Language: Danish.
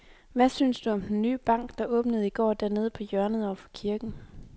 Hvad synes du om den nye bank, der åbnede i går dernede på hjørnet over for kirken?